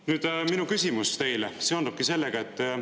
Nüüd, minu küsimus teile seondubki sellega.